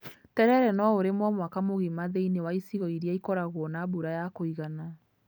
Terere no ũrimwo mwaka mũgima thĩiniĩ wa icigo irĩa ikoragwo na mbura ya kũigana.